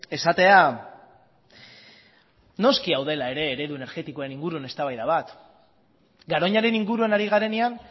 esatea noski hau dela ere eredu energetikoen inguruen eztabaida bat garoñaren inguruan ari garenean